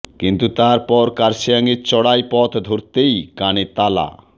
কিন্তু তার পর কার্শিয়াঙের চড়াই পথ ধরতেই কানে তালা